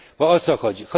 Bo o co chodzi?